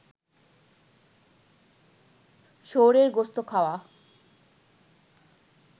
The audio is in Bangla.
শুয়োরের গোস্ত খাওয়া